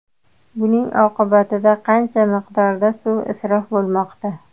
Buning oqibatida qancha miqdorda suv isrof bo‘lmoqda.